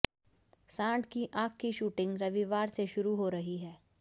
सांड की आंख की शूटिंग रविवार से शुरू हो रही है